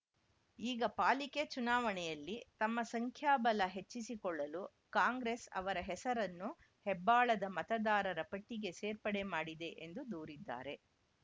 ಈಗ ಪಾಲಿಕೆ ಚುನಾವಣೆಯಲ್ಲಿ ತಮ್ಮ ಸಂಖ್ಯಾ ಬಲ ಹೆಚ್ಚಿಸಿಕೊಳ್ಳಲು ಕಾಂಗ್ರೆಸ್‌ ಅವರ ಹೆಸರನ್ನು ಹೆಬ್ಬಾಳದ ಮತದಾರರ ಪಟ್ಟಿಗೆ ಸೇರ್ಪಡೆ ಮಾಡಿದೆ ಎಂದು ದೂರಿದ್ದಾರೆ